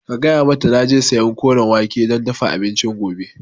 Gaya mata naje sayan Koren wake don dafa abincin gobe